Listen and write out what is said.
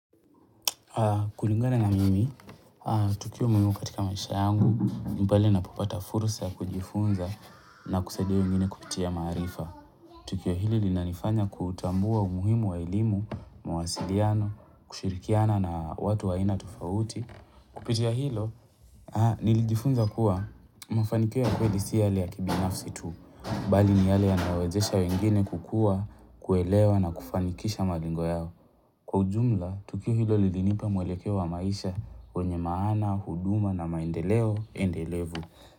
Kulingana na mimi, tukio muhimu katika maisha yangu, ni pale napopata fursa ya kujifunza na kusadia wengine kupitia maarifa. Tukio hili linanifanya kutambua umuhimu wa elimu, mawasiliano, kushirikiana na watu wa aina tofauti. Kupitia hilo, nilijifunza kuwa mafanikio ya kweli si yale ya kibinafsi tu, bali ni yale yanayowezesha wengine kukua, kuelewa na kufanikisha malengo yao. Kwa ujumla, tukio hilo lilinipa mwelekeo wa maisha wenye maana, huduma na maendeleo endelevu.